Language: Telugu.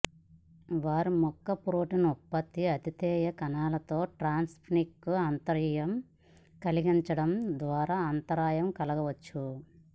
వారు మొక్క ప్రోటీన్ ఉత్పత్తిని అతిధేయ కణాలలో ట్రాన్స్క్రిప్షన్కు అంతరాయం కలిగించడం ద్వారా అంతరాయం కలిగించవచ్చు